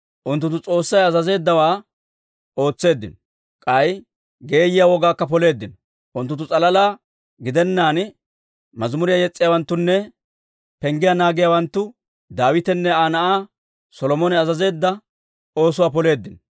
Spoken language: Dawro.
Unttunttu S'oossay azazeeddawaa ootseeddino; k'ay geeyiyaa wogaakka poleeddino. Unttunttu s'alalaa gidennaan, mazimuriyaa yes's'iyaawanttunne penggiyaa naagiyaawanttu Daawitenne Aa na'aa Solomone azazeedda oosuwaa poleeddino.